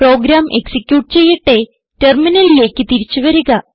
programme execute ചെയ്യട്ടെ ടെർമിനലിലേക്ക് തിരിച്ചു വരിക